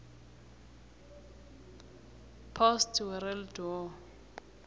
post world war